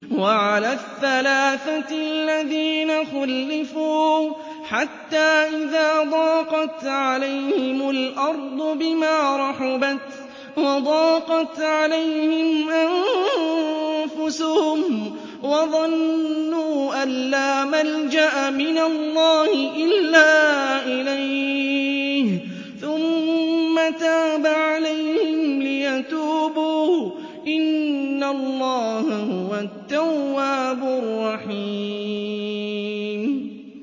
وَعَلَى الثَّلَاثَةِ الَّذِينَ خُلِّفُوا حَتَّىٰ إِذَا ضَاقَتْ عَلَيْهِمُ الْأَرْضُ بِمَا رَحُبَتْ وَضَاقَتْ عَلَيْهِمْ أَنفُسُهُمْ وَظَنُّوا أَن لَّا مَلْجَأَ مِنَ اللَّهِ إِلَّا إِلَيْهِ ثُمَّ تَابَ عَلَيْهِمْ لِيَتُوبُوا ۚ إِنَّ اللَّهَ هُوَ التَّوَّابُ الرَّحِيمُ